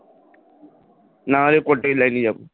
নাহলে political line এ যাব,